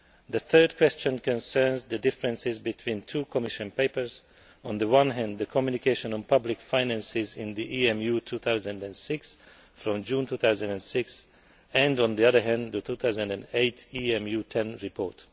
The third question concerns the differences between two Commission papers on the one hand, the communication on public finances in the EMU 2006 of June 2006 and, on the other hand, the 2008 EMU 10 report.